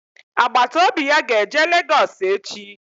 Agbataobi ya ga-eje Lagos echi